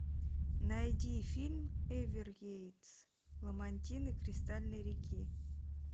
найди фильм эверглейдс ламантины кристальной реки